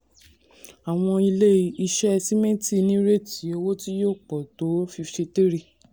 àwọn ilé-iṣẹ́ sìmẹ́ntì nírètí owó tí yóò pọ̀ tó fifty three.